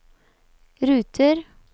ruter